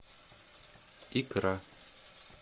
икра